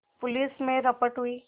police में रपट हुई